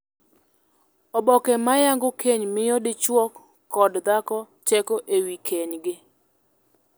Oboke ma yango keny miyo dichwo kod dhako teko e wii kenygi.